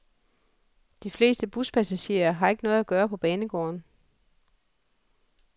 De fleste buspassagerer har ikke noget at gøre på banegården.